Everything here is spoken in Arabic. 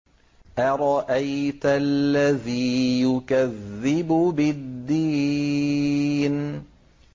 أَرَأَيْتَ الَّذِي يُكَذِّبُ بِالدِّينِ